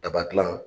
Daba dilan